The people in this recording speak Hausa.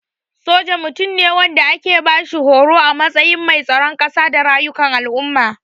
Soja Mutum ne wanda ake bashi horo a matsayin mai tsaron kasa da rayukan al'umma.